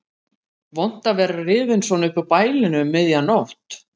Vont að vera rifinn svona upp úr bælinu um miðja nótt.